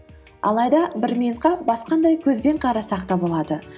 алайда бір минутқа басқадай көзбен қарасақ та болады